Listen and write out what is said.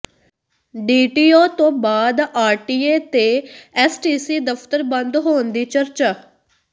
DTO ਤੋਂ ਬਾਅਦ RTA ਤੇ ਐੱਸਟੀਸੀ ਦਫ਼ਤਰ ਬੰਦ ਹੋਣ ਦੀ ਚਰਚਾ